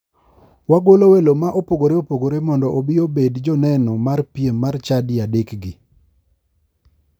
Wagwelo welo ma opogore opogore mondo obi obedi joneno mar piem mar chadi adekgi.